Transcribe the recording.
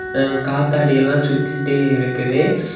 அ காத்தாடி எல்லாம் சுத்திட்டே இருக்குது.